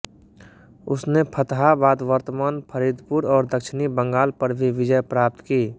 उसने फतहाबाद वर्तमान फरीदपुर और दक्षिणी बंगाल पर भी विजय प्राप्त की